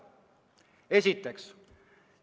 Seda esiteks.